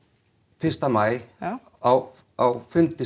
fyrsta maí já á á fundi